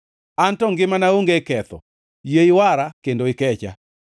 An to ngimana onge ketho; yie iwara kendo ikecha.